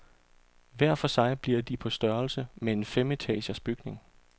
Hver for sig bliver de på størrelse med en femetagers bygning.